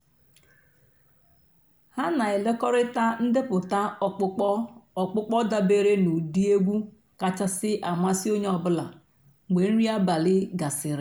há nà-ékékọ̀rị́tá ǹdèpụ́tá ọ̀kpụ́kpọ́ ọ̀kpụ́kpọ́ dàbèré nà ụ́dị́ ègwú kàchàsị́ àmásị́ ónyé ọ̀ bụ́là mg̀bé nrí àbàlí gàsị́rị́.